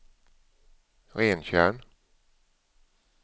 Rentjärn